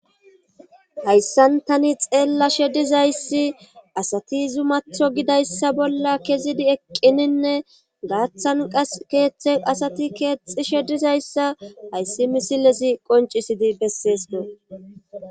Hayssantani xeella shedizayssi asati zumatho gidayssa bolla kezidi eqqininne gaaththan qas keeththen asati keexi shedizayssa hayssi misilezi qoncisidi besseesdo.